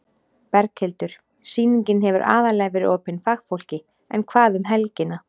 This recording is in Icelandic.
Berghildur: Sýningin hefur aðallega verið opin fagfólki en hvað um helgina?